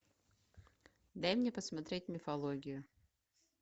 дай мне посмотреть мифологию